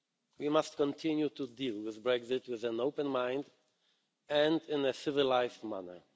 We must continue to deal with Brexit with an open mind and in a civilised manner.